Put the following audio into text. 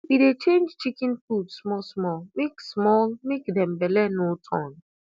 we dey change chicken food small small make small make dem belle no turn